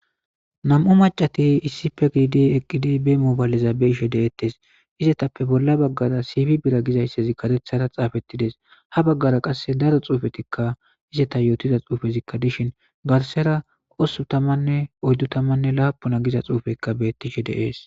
nam'u macati issife giide eqqidi be moobayleza beishe de'ettes izetappe bolla baggara siifi bira gizayssezi karethara xaafettides ha baggara qasse daro xuufetikka izeta yootida xuufezikka dishin garsera ospun tamanne oyddu tamanne laapuna giza xuufeykka bettishe de'ees